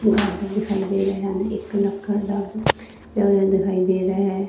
ਦਰਵਾਜ਼ਾ ਦਿਖਾਈ ਦੇ ਰਿਹਾ ਹੈ ਇੱਕ ਲੱਕੜ ਦਾ ਪਿਆ ਹੋਇਆ ਦਿਖਾਈ ਦੇ ਰਿਹਾ ਹੈ।